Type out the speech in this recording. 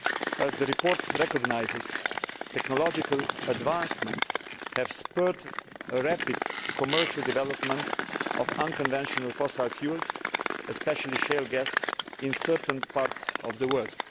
As the report recognises, technological advancements have spurred a rapid commercial development of unconventional fossil fuels, especially shale gas, in certain parts of the world.